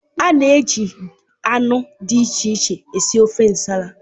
A na-eji anụ dị iche iche sie ofe Nsala.